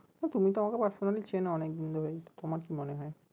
তুমিতো আমাকে personally চেনো অনেক দিন ধরেই তো তোমার কি মনে হয়?